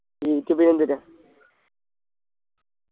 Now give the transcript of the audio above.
ഇനിക്കിപിന്ന എന്ത്ട്ടാ